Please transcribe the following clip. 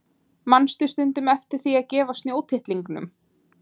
Manstu stundum eftir því að gefa snjótittlingunum?